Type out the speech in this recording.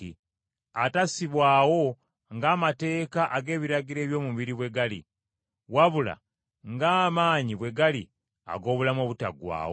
atassibwawo ng’amateeka ag’ebiragiro eby’omubiri bwe gali, wabula ng’amaanyi bwe gali ag’obulamu obutaggwaawo.